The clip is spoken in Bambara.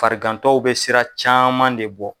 Farigantɔw bɛ siran caman de bɔ.